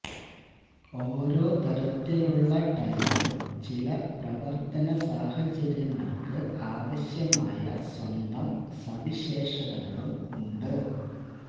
ഓരോ തരത്തിലുള്ള ടയറും ചില പ്രവർത്തന സാഹചര്യങ്ങൾക്ക് ആവശ്യമായ സ്വന്തം സവിശേഷതകളും സവിശേഷതകളും ഉണ്ട്